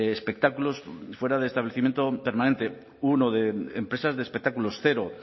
espectáculos fuera de establecimiento permanente uno de empresas de espectáculos cero